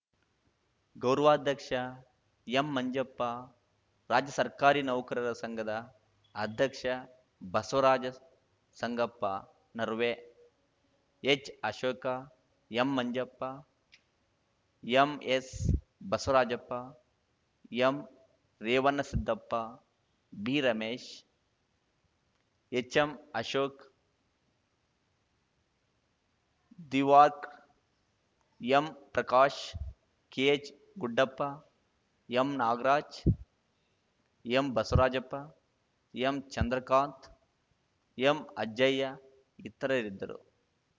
ಗೌರವಾಧ್ಯಕ್ಷ ಎಂಮಂಜಪ್ಪ ರಾಜ್ಯ ಸರ್ಕಾರಿ ನೌಕರರ ಸಂಘದ ಅಧ್ಯಕ್ಷ Basavaraj ಸಂಗಪ್ಪನರ್ವೇ ಎಚ್‌ಅಶೋಕ ಎಂಮಂಜಪ್ಪ MS Basavarajappa ಎಂರೇವಣಸಿದ್ದಪ್ಪ B Ramesh HM Ashok ದಿವಾಕ್ M Prakash K H Guddappa M Nagaraj M Basavarajappa M Chandrakant ಎಂಅಜ್ಜಯ್ಯ ಇತರರಿದ್ದರು